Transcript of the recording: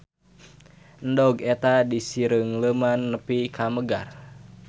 Endog eta disireungleuman nepi ka megar.